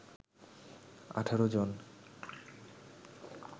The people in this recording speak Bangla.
১৮ জন